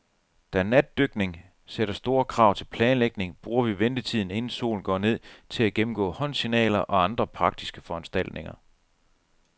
Da natdykning sætter store krav til planlægning, bruger vi ventetiden, inden solen går ned, til at gennemgå håndsignaler og andre praktiske foranstaltninger.